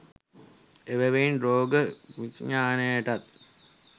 එබැවින් රෝග විඥානයටත්,